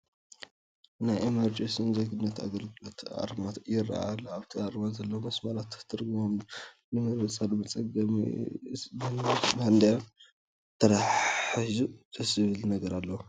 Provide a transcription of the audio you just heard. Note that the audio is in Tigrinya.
ናይ ኢሚግሬሽን ዜግነትን ኣገልግሎት ኣርማ ይርአ ኣሎ፡፡ ኣብቲ ኣርማ ዘለዉ መስመራት ትርጉሞም ንምርዳእ መፀገሚ እዩ፡፡ ግን ምስ ባንዲራ ተተሓሒዙ ደስ ዝብል ነገር ኣለዎ፡፡